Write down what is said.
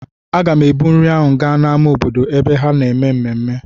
Aga m ebu nri ahụ gaa n'ámá obodo ebe ha na-eme ememme.